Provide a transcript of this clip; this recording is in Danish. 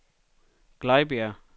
Glejbjerg